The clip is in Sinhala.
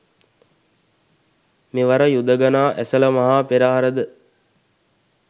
මෙවර යුදඟනා ඇසළ මහා පෙරහර ද